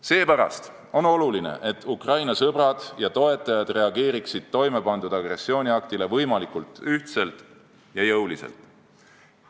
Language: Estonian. Seepärast on oluline, et Ukraina sõbrad ja toetajad reageeriksid toimepandud agressiooniaktile võimalikult ühtselt ja jõuliselt.